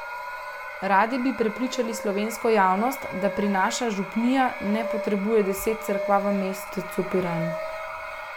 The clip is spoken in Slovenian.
Radi bi prepričali slovensko javnost, da piranska župnija ne potrebuje deset cerkva v mestecu Piran.